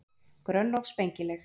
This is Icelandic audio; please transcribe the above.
Grönn og spengileg.